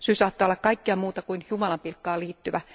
Syy saattaa olla kaikkea muuta kuin jumalanpilkkaan liittyvä.